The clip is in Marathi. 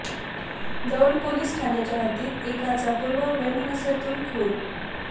दौंड पोलीस ठाण्याच्या हद्दीत एकाचा पूर्व वैमनस्यातून खून